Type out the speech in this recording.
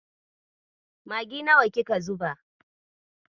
Maggi nawa kika zuba?